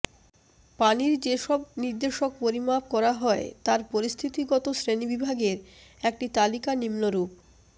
পানির যে সব নির্দেশক পরিমাপ করা হয় তার পরিস্থিতিগত শ্রেণিবিভাগের একটি তালিকা নিম্নরূপঃ